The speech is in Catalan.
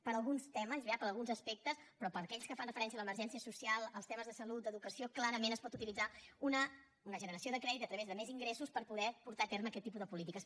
per a alguns temes per a alguns aspectes però per a aquells que fan referència a l’emergència social als temes de salut d’educació clarament es pot utilitzar una generació de crèdit a través de més ingressos per poder portar a terme aquest tipus de polítiques